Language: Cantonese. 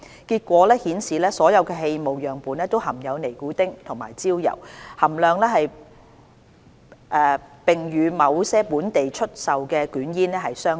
結果顯示所有氣霧樣本都含有尼古丁和焦油，而且含量與某些本地出售的捲煙相若。